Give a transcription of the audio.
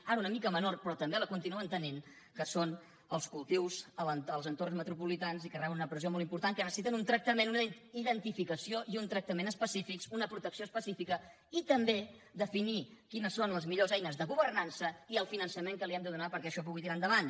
ara una mica menor però també la continuen tenint que són els cultius dels entorns metropolitans i que reben una pressió molt important que necessiten un tractament una identificació i un tractament específics una protecció específica i també definir quines són les millors eines de governança i el finançament que els hem de donar perquè això pugui tirar endavant